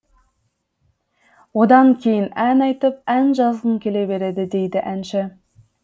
одан кейін ән айтып ән жазғың келе береді дейді әнші